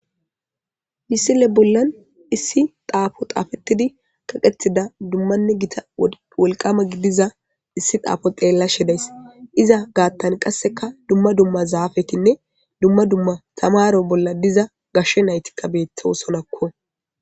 Missile bolan issi xafo xafetidi kaqetida dummanne gita wolqamma gidiza issi xafo xellashshe days iza gaththan qassekka dumma dumma zafetinne dumma dumma tamaro bolla diza gashshe naytikka betosonakko